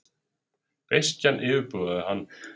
Beiskjan yfirbugaði hann.